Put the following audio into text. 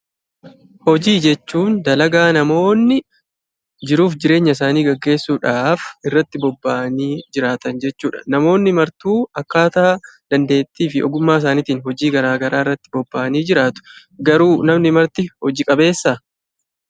Hojii jechuun dalagaa namoonni jiruuf jireenya isaanii gaggeessuudhaaf irratti bobba'anii jiraatan jechuudha. Namoonni martuu akkaataa dandeettii fi ogummaa isaaniitiin hojii garaa garaa irratti bobba'anii jiraatu. Garuu namni marti hoji qabeessaa?